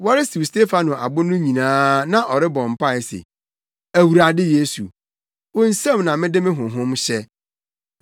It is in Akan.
Wɔresiw Stefano abo no nyinaa na ɔrebɔ mpae se, “Awurade Yesu, wo nsam na mede me honhom hyɛ!”